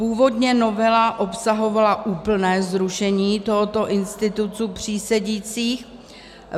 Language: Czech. Původně novela obsahovala úplné zrušení tohoto institutu přísedících.